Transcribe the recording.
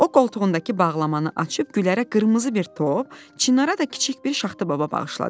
O qoltuğundakı bağlamanı açıb Gülərə qırmızı bir top, Çinara da kiçik bir Şaxta baba bağışladı.